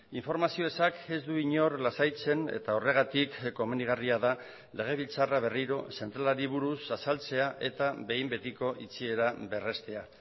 informazio ezak ez du inor lasaitzen eta horregatik komenigarria da legebiltzarra berriro zentralari buruz azaltzea eta behin betiko itxiera berrestea